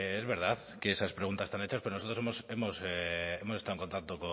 es verdad que esas preguntas están hechas pero nosotros hemos estado en contacto